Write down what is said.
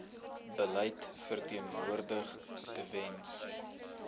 beleid verteenwoordig tewens